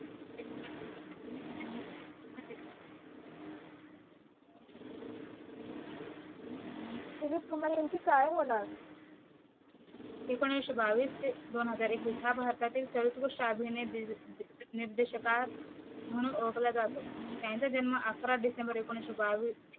दिलीप कुमार यांचे काय होणार एकोणीशे बावीस ते दोन हजार एकवीस हा भारतातील सर्वोत्कृष्ट अभिनय दील दी निदेर्शका म्हणून ओळखला जातो त्यांचा जन्म अकरा डिसेंबर एकोणीशे बावीस